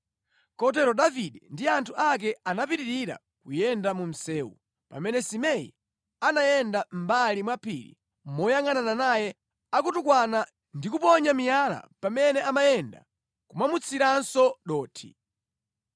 Kotero Davide ndi anthu ake anapitirira kuyenda mu msewu pamene Simei amayenda mʼmbali mwa phiri moyangʼanana naye akutukwana ndi kuponya miyala pamene amayenda nʼkumamutsiranso dothi.